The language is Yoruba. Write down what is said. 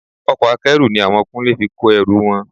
Ọkọ̀ Akẹ́rù ni àwọn Kúnlé fi kó ẹrù wọn